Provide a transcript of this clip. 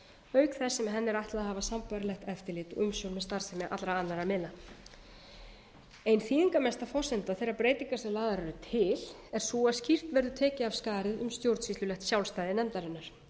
auk þess sem henni er ætlað að hafa sambærilegt eftirlit og umsjón með starfsemi allra annað miðla ein þýðingarmesta forsenda þeirra breytinga sem lagðar eru til er sú að skýrt verði tekið af skarið um stjórnsýslulegt sjálfstæði nefndarinnar